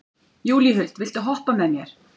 Júlíhuld, viltu hoppa með mér?